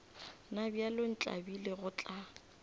na bjale ntlabile go tla